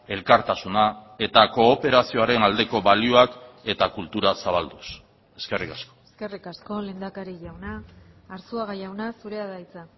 elkartasuna eta kooperazioaren aldeko balioak eta kultura zabalduz eskerrik asko eskerrik asko lehendakari jauna arzuaga jauna zurea da hitza